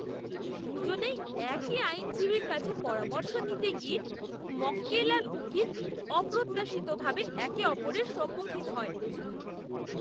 দু'জনেই একই আইনজীবীর কাছে পরামর্শ নিতে গিয়ে মক্কেল আর উকিল অপ্রত্যাশিতভাবে একে অপরের সম্মুখীন হয়।